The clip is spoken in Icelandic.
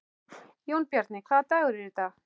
Jónbjarni, hvaða dagur er í dag?